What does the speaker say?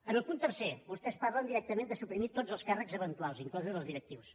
en el punt tercer vostès parlen directament de suprimir tots els càrrecs eventuals inclosos els directius